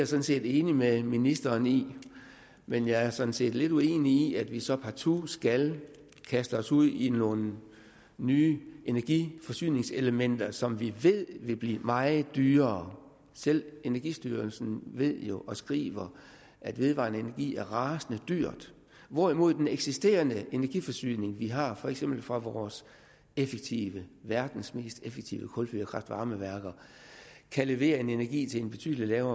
sådan set enig med ministeren i men jeg er sådan set lidt uenig i at vi så partout skal kaste os ud i nogle nye energiforsyningselementer som vi ved vil blive meget dyrere selv energistyrelsen ved jo og skriver at vedvarende energi er rasende dyr hvorimod den eksisterende energiforsyning vi har for eksempel fra vores effektive verdens mest effektive kulfyrede kraft varme værker kan levere en energi til en betydelig lavere